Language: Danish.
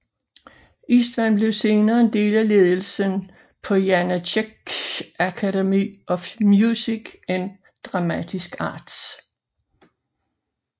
Istvan blev senere en del af ledelsen på Janáček Academy of Music and Dramatic Arts